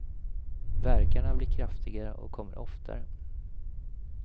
Värkarna blir kraftigare och kommer oftare.